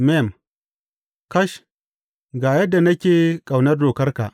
Mem Kash, ga yadda nake ƙaunar dokarka!